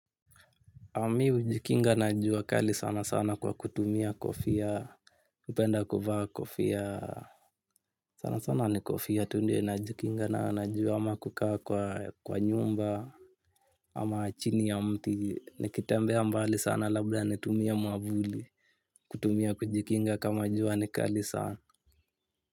Na mi hujikinga na jua kali sana sana kwa kutumia kofia. Upenda kuvaa kofia sana sana ni kofia tu ndio najikinga na jua ama kukaa kwa nyumba. Ama chini ya mti nikitembea mbali sana labda nitumie mwavuli. Kutumia kujikinga kama jua ni kali sana.